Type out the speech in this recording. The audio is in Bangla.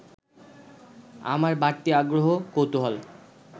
আমার বাড়তি আগ্রহ-কৌতূহল